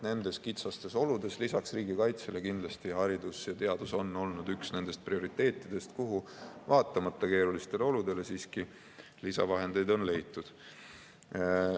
Nendes kitsastes oludes on lisaks riigikaitsele kindlasti haridus ja teadus olnud üks nendest prioriteetidest, kuhu vaatamata keerulistele oludele siiski lisavahendeid on leitud.